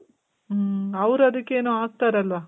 ಮ್ಮ್ . ಅವ್ರ್ ಅದಕ್ಕ್ ಏನೋ ಹಾಕ್ತರಲ್ವ?